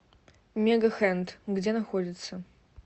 мегахенд где находится